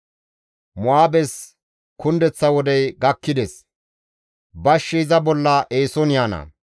«Mo7aabes kundeththa wodey gakkides; bashshi iza bolla eeson yaana.